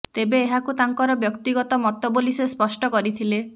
ତେବେ ଏହାକୁ ତାଙ୍କର ବ୍ୟକ୍ତିଗତ ମତ ବୋଲି ସେ ସ୍ପଷ୍ଟ କରିଥିଲେ